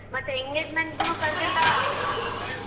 ಮತ್ತೆ engagement ಗೂನು ಕರ್ದಿಲ್ಲ?